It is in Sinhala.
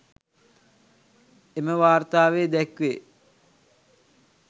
එම වාර්තාවේ දැක්වේ